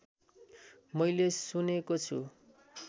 मैले सुनेको छु